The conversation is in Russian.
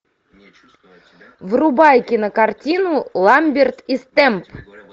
врубай кинокартину ламберт и стэмп